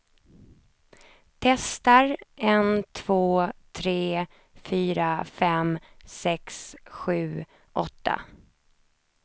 Testar en två tre fyra fem sex sju åtta.